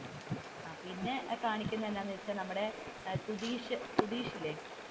പിന്നെ കാണിക്കുന്നത് എന്താണെന്ന് വെച്ചാൽ നമ്മുടെ സുതീഷ് സുതീഷില്ലേ,